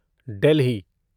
Delhi